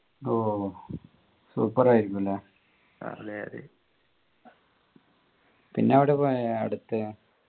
ഓ super ആയിരിക്കും അല്ലെ പിന്നെ എവിടേ പോയെ അടുത്തെ